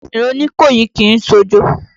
Ìran Oníkòyí kìí ṣojo.